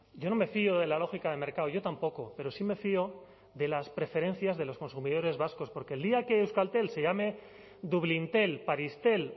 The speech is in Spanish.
yo no me fío de la lógica de mercado yo tampoco pero sí me fío de las preferencias de los consumidores vascos porque el día que euskaltel se llame dublíntel parístel